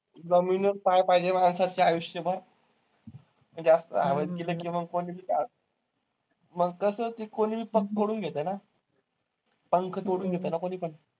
जमिनीवर पाय पाहिजे माणसाचं आयुष्यभर. जास्त हवेत गेलं की मग पण मग कसं ते कोणीपण पंख तोडून घेतंय ना? पंख तोडून घेतं ना कोणीपण?